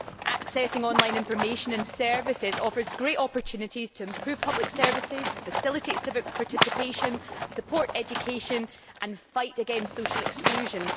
Accessing online information and services offers great opportunities to improve public services, facilitate civic participation, support education and fight against social exclusion.